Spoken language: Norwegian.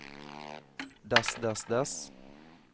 dess dess dess